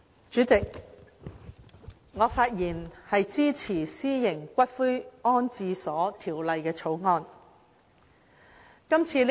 主席，我發言支持《私營骨灰安置所條例草案》。